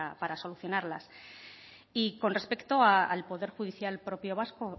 para solucionarlas y con respecto al poder judicial propio vasco